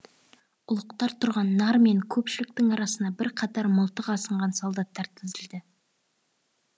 ұлықтар тұрған нар мен көпшіліктің арасына бірқатар мылтық асынған солдаттар тізілді